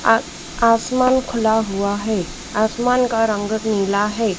आ आसमान खुला हुआ है आसमान का रंग नीला है।